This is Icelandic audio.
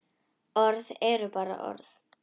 Orð eru bara orð.